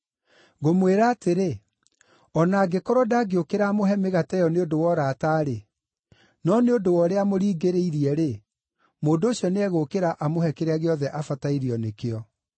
Ngũmwĩra atĩrĩ, o na angĩkorwo ndangĩũkĩra amũhe mĩgate ĩyo nĩ ũndũ wa ũrata-rĩ, no nĩ ũndũ wa ũrĩa amũringĩrĩirie-rĩ, mũndũ ũcio nĩegũũkĩra amũhe kĩrĩa gĩothe abatairio nĩkĩo.”